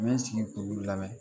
N bɛ sigi k'olu lamɛn